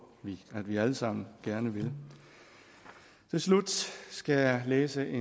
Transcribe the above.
vi at vi alle sammen gerne vil til slut skal jeg læse et